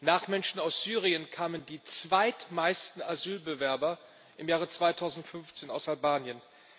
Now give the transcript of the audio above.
Nach Menschen aus Syrien kamen die zweitmeisten Asylbewerber im Jahre 2015 aus Albanien.